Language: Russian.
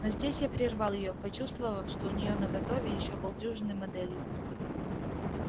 но здесь я прервал её почувствовав что у неё наготове ещё полдюжины моделей